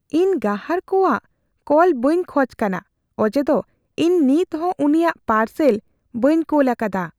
ᱤᱧ ᱜᱟᱦᱟᱨ ᱠᱚᱣᱟᱜ ᱠᱚᱣᱟᱜ ᱠᱚᱞ ᱵᱟᱹᱧ ᱠᱷᱚᱡ ᱠᱟᱱᱟ ᱚᱡᱮᱫᱚ ᱤᱧ ᱱᱤᱛᱦᱚᱸ ᱩᱱᱤᱭᱟᱜ ᱯᱟᱨᱥᱮᱞ ᱵᱟᱹᱧ ᱠᱳᱞ ᱟᱠᱟᱫᱟ ᱾